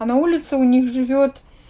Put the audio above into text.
а на улице у них живёт